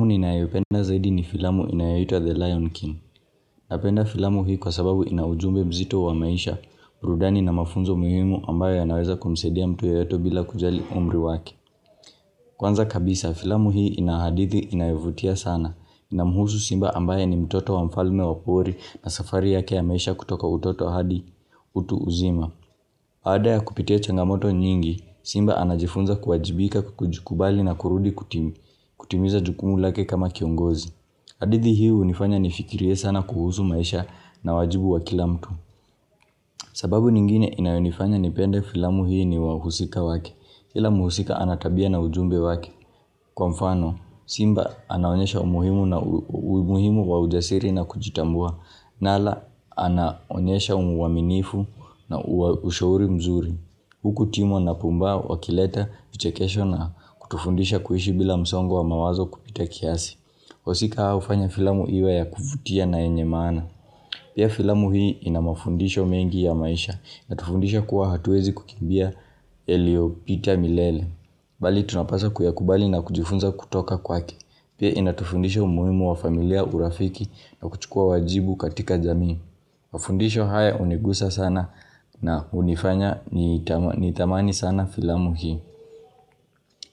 Mu ninayopenda zaidi ni filamu inayoitwa The Lion King. Napenda filamu hii kwa sababu inaujumbe mzito wa maisha, burudani na mafunzo muhimu ambayo ya naweza kumsaidia mtu yeyote bila kujali umri wake. Kwanza kabisa, filamu hii inahadithi inayovutia sana. Inamuhusu simba ambaye ni mtoto wa mfalme wapori na safari yake ya maisha kutoka utoto hadi utu uzima. Baada ya kupitia changamoto nyingi, simba anajifunza kuwajibika kukujukubali na kurudi kutimu. Kutimiza jukumu lake kama kiongozi. Hadithi hii unifanya nifikirie sana kuhusu maisha na wajibu wa kila mtu. Sababu nyingine inayonifanya nipende filamu hii ni wahusika wake. Kila muhusika anatabia na ujumbe wake. Kwa mfano, simba anaonyesha umuhimu na umuhimu wa ujasiri na kujitambua. Nala, anaonyesha umuwaminifu na ushauri mzuri. Huku timwa na pumbaa wa kileta, vichekesho na kutufundisha kuishi bila msongo wa mawazo kupita kiasi. Wahusika hawaufanya filamu iwe ya kuvutia na yenye maana Pia filamu hii inamafundisho mengi ya maisha inatufundisha kuwa hatuwezi kukimbia yalio pita milele Bali tunapasa kuyakubali na kujifunza kutoka kwake Pia inatufundisha umuhimu wa familia urafiki na kuchukua wajibu katika jamii Mafundisho haya unigusa sana na unifanya nithamani sana filamu hii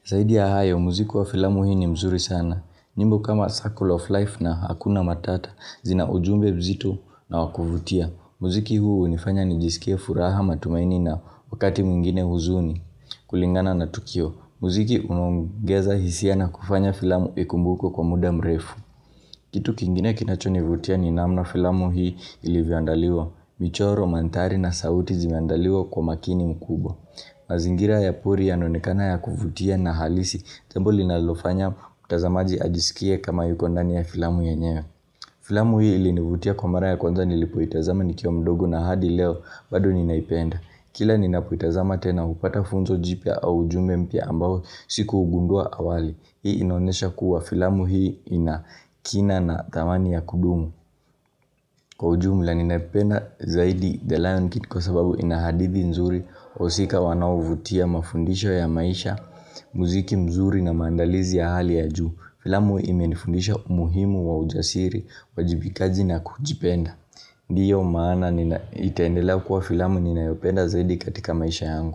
zaidi ya hayo muziki wa filamu hii ni mzuri sana nyimbo kama Circle of life na Hakuna Matata zina ujumbe mzito na wakuvutia. Muziki huu unifanya nijisikia furaha matumaini na wakati mwingine huzuni kulingana na Tukio. Muziki unaongeza hisia na kufanya filamu ikumbukwe kwa muda mrefu. Kitu kingine kinachoni vutia ni namna filamu hii ilivyoandaliwa. Michoro, manthari na sauti zimeandaliwa kwa makini mkubwa. Mazingira ya pori yanaonekana ya kuvutia na halisi jambo li nalofanya mtazamaji ajiskie kama yuko ndani ya filamu yenyewe Filamu hii ili nivutia kwa mara ya kwanza nilipoitazama nikiwa mdogo na hadi leo bado ninaipenda Kila ninapoitazama tena hupata funzo jipya au ujumbe mpya ambao siku ugundua awali Hii inaonesha kuwa filamu hii ina kina na thamani ya kudumu Kwa ujumela ninaipenda zaidi The Lion Kid kwa sababu inahadithi nzuri wahusika wanaovutia mafundisho ya maisha, muziki mzuri na maandalizi ya hali ya juu Filamu ime nifundisha umuhimu wa ujasiri, wajibikaji na kujipenda Ndiyo maana nina itaendela kuwa filamu ninayopenda zaidi katika maisha yangu.